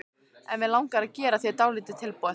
En mig langar að gera þér dálítið tilboð.